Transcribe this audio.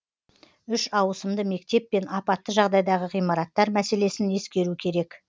үш ауысымды мектеп пен апатты жағдайдағы ғимараттар мәселесін ескеру керек